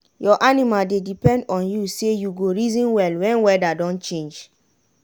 your animals dey depend on you say you go reason well wen weada don change.